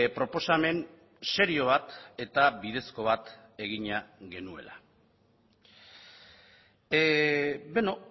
proposamen serio bat eta bidezko bat egina genuela beno